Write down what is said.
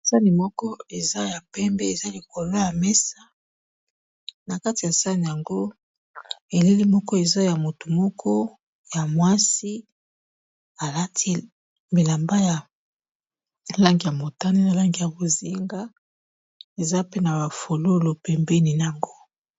sani moko eza ya pembe eza likola ya mesa na kati ya sane yango eleli moko eza ya motu moko ya mwasi alati milamba ya langi ya motani na langi ya kozinga eza pe na bafolulo pembeni na yango